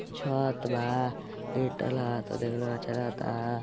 छत बा। लिन्टर लागत बा। देखले अच्छा लागता।